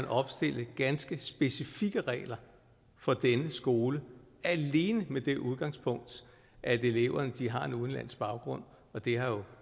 opstille ganske specifikke regler for denne skole alene med det udgangspunkt at eleverne har en udenlandsk baggrund og det har jo